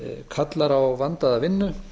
kallar á vandaða vinnu